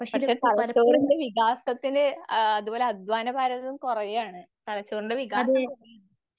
പക്ഷെ തലച്ചോറിൻറെ വികാസത്തിലെ ആഹ് അതുപോലെ അധ്വാനഭാരം കുറയാണ്. തലച്ചോറിൻറെ വികാസം